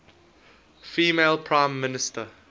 female prime minister